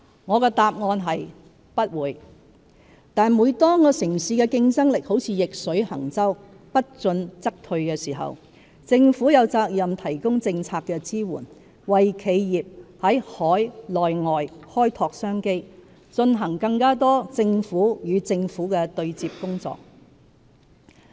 我的答案是"不會"，但當城市的競爭力如逆水行舟，不進則退時，政府有責任提供政策支援，為企業在海內外開拓商機，進行更多"政府與政府"的對接工作。